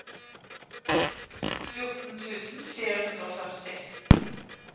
fjorten tusen fire hundre og førti